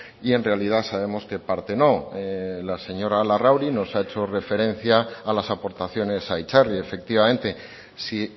y en realidad sabemos que parte no la señora larrauri nos ha hecho referencia a las aportaciones a itzarri efectivamente si